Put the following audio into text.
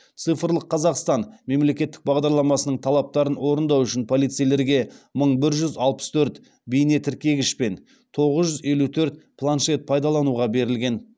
цифрлық қазақстан мемлекеттік бағдарламасының талаптарын орындау үшін полицейлерге мың бір жүз алпыс төрт бейнетіркегіш пен тоғыз жүз елу төрт планшет пайдалануға берілген